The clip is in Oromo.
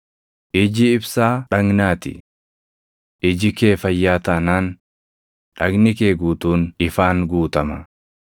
“Iji ibsaa dhagnaa ti. Iji kee fayyaa taanaan, dhagni kee guutuun ifaan guutama.